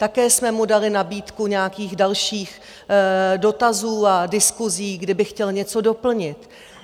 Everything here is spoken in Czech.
Také jsme mu dali nabídku nějakých dalších dotazů a diskusí, kdyby chtěl něco doplnit.